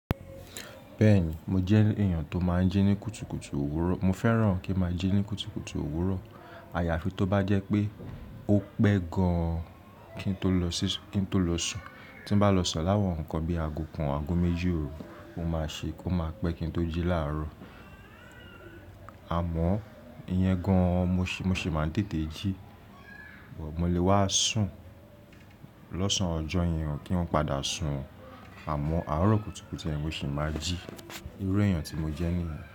Bẹ́ẹ̀ni, mo jẹ́ èèyàn tó máa ń jí ní kùtukùtu òwúrọ̀. Mo fẹ́ràn kí máa jí ní kùtukùtu òwúrọ̀. Àyàfi tó bá jẹ́ pé ó pẹ́ gan-an kí n tó lọ sún. Tí n bá lọ sùn láwọn nǹkan bíi àgo kan, àgo méjì òru, ó máa ṣe kó máa pẹ́ kí n tó jí láàárọ̀. Àmọ́ iyan gan-an mo sì máa ń tètè jí. Mo lè wá sùn lọ́sàn-án ọjọ́ yẹn o kí n padà sùn. Àmọ́ àárọ̀ kùtukùtu yen mo sì máa jí. Irú èèyàn tí mo jẹ́ nìyẹn.